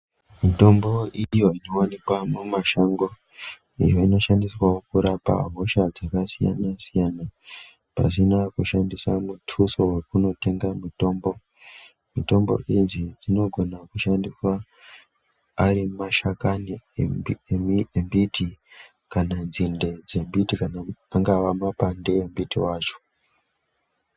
Mitombo iyo inowanikwa mumashango iyo inoshandiswawo kurapa hosha dzakasiyana-siyana pasina kushandisa mutuso wekundotenga mutombo. Mitombo idzi dzinofana kushandiswa Ari mashakani embiti kana dzinde dzembiti kana anagwa mapande embiti wacho.